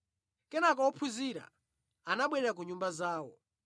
Kenaka ophunzira anabwerera ku nyumba zawo,